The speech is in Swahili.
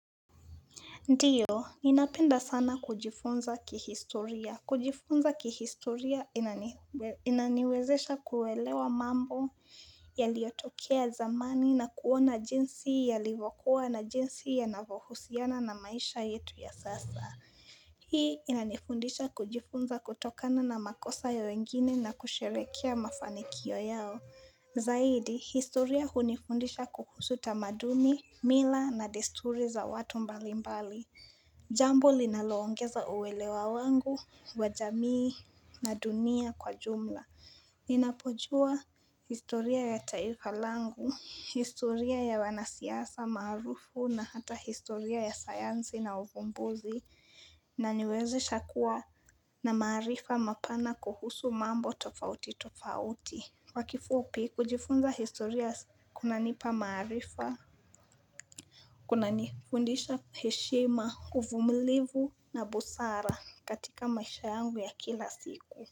Ndiyo, ninapenda sana kujifunza kihistoria. Kujifunza kihistoria inaniwezesha kuelewa mambo yaliotokea zamani na kuona jinsi yalivo kuwa na jinsi yanavo husiana na maisha yetu ya sasa. Hii inanifundisha kujifunza kutokana na makosa ya wengine na kusherekea mafanikio yao. Zaidi, historia hunifundisha kuhusu tamaduni, mila na desturi za watu mbalimbali. Jambo linalo ongeza uwelewa wangu wa jamii na dunia kwa jumla Ninapojua historia ya taifa langu, historia ya wanasiasa marufu na hata historia ya sayansi na ufumbuzi na niwezesha kuwa na maarifa mapana kuhusu mambo tofauti tofauti kwa kifupi kujifunza historia kuna nipa maarifa Kuna nifundisha heshima uvumilivu na busara katika maisha yangu ya kila siku.